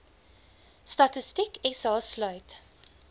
statistiek sa sluit